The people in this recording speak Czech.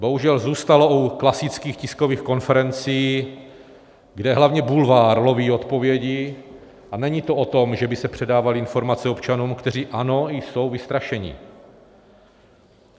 Bohužel zůstalo u klasických tiskových konferencí, kde hlavně bulvár loví odpovědi, a není to o tom, že by se předávaly informace občanům, kteří, ano, jsou vystrašeni.